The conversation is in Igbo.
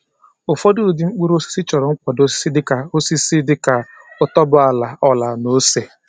Ụfọdụ ụdị mkpụrụ osisi chọrọ nkwado osisi dị ka osisi dị ka otuboala oala na ose.